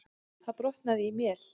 Það brotnaði í mél.